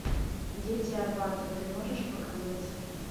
дети арбата ты можешь показать